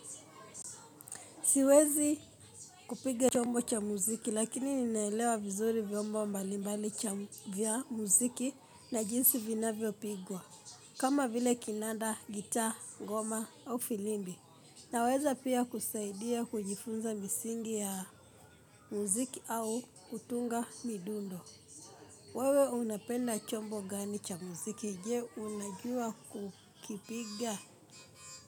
Siwezi kupige chombo cha muziki lakini ninaelewa vizuri vyombo mbalimbali cha vya muziki na jinsi vinvyo pigwa. Kama vile kinanda, gitaa, goma au filimbi. Naweza pia kusaidia kujifunza misingi ya muziki au kutunga midundo. Wewe unapenda chombo gani cha muziki je unajua kukipiga.